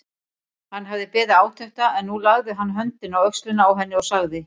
Hann hafði beðið átekta en nú lagði hann höndina á öxlina á henni og sagði